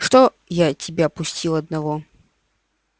чтоб я тебя пустил одного